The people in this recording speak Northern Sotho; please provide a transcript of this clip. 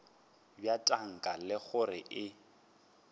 bja tanka le gore e